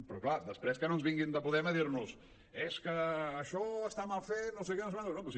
però clar després que no ens vinguin de podem a dir·nos és que això està mal fet no sé què no sé quantos